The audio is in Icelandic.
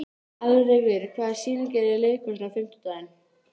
Alrekur, hvaða sýningar eru í leikhúsinu á fimmtudaginn?